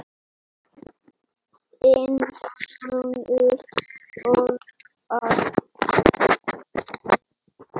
Þinn sonur, Örvar.